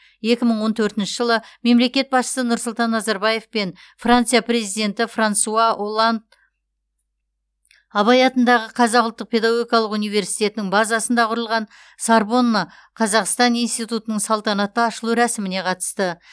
екі мың он төртінші жылы мемлекет басшысы нұрсұлтан назарбаев пен франция президенті франсуа олланд абай атындағы қазақ ұлттық педагогикалық университетінің базасында құрылған сорбонна қазақстан институтының салтанатты ашылу рәсіміне қатысты